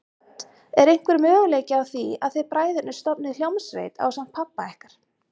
Hödd: Er einhver möguleiki á að þið bræðurnir stofnið hljómsveit ásamt pabba ykkar?